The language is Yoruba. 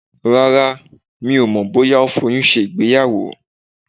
Rárá, mi ò mọ̀ bóyá ó foyun ṣe ìgbéyàwó.